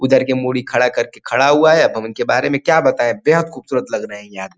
उधर के मुड़ी खड़ा करके खड़ा हुआ है। अब हम उनके बारे मे क्या बताए बेहद खुबसूरत लग रहे है यार।